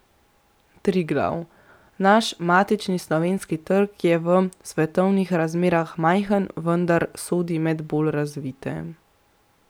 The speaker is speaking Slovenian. Triglav: 'Naš matični slovenski trg je v svetovnih razmerah majhen, vendar sodi med bolj razvite.